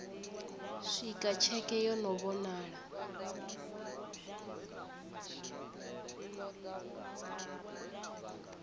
swika tsheke yo no vhonala